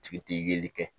Tigi tɛ yeli kɛ